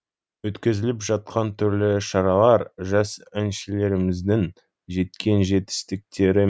өткізіліп жатқан түрлі шаралар жас әншілеріміздің жеткен жетістіктері